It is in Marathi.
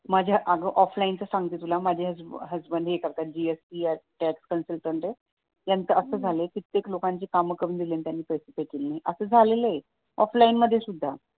माझ्या अगं ऑफलाईन चं सांगते माझ्या हसबंड हे करतात , त्यांचं असं झालं कित्येक लोकांची त्यांनी काम करून दिली आणि त्यांनी पैसेच नाही दिले असं झालेलं आहे ऑफलाईन मध्ये सुद्धा